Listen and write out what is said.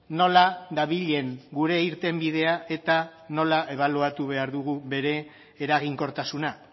nola dabilen gure irtenbidea eta nola ebaluatu behar dugun bere eraginkortasuna